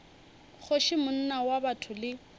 kgoši monna wa botho le